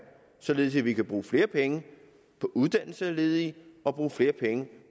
således at vi kan bruge flere penge på uddannelse af ledige og bruge flere penge